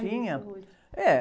Tinha, eh...